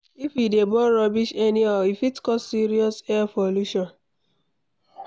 If we dey burn rubbish anyhow, e fit cause serious air pollution.